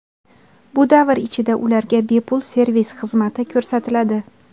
Bu davr ichida ularga bepul servis xizmati ko‘rsatiladi.